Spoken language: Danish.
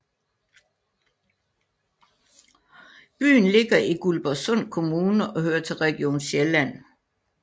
Byen ligger i Guldborgsund Kommune og hører til Region Sjælland